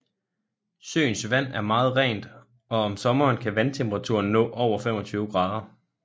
Søens vand er meget rent og om sommeren kan vandtemperaturen nå over 25 grader